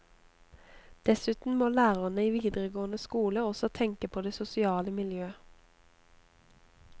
Dessuten må lærerne i videregående skole også tenke på det sosiale miljø.